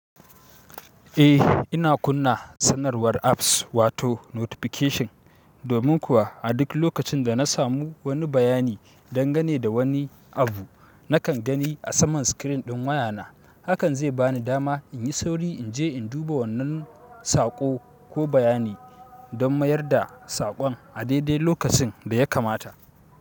Eh ina kunna sanarwar apps wato notification. Domin kuwa a duk lokacin da na samu wani bayani dangane da wani abu, nakan gani a saman screen ɗin wayana. Hakan zai bani dama in yi sauri in je in duba wannan saƙo ko bayani don mayar da saƙon a daidai lokacin da ya kamata.